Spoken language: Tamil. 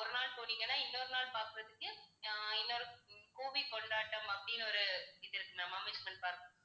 ஒரு நாள் போனீங்கன்னா இன்னொரு நாள் பார்க்கிறதுக்கு அஹ் இன்னொரு உம் movie கொண்டாட்டம் அப்படின்னு ஒரு இது இருக்கு நம்ம amusement park ல.